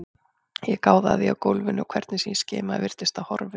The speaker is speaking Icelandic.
Ég gáði að því á gólfinu og hvernig sem ég skimaði virtist það horfið.